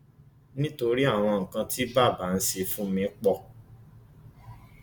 nítorí àwọn nǹkan tí bàbá ń ṣe fún mi pọ